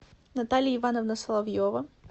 наталья ивановна соловьева